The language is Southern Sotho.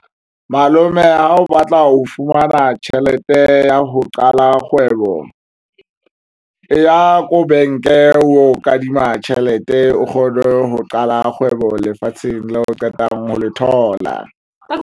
Malome ha o batla ho fumana tjhelete ya ho qala kgwebo eya ko bank-e o kadima tjhelete o kgone ho qala kgwebo lefatsheng la o qetang ho le thola.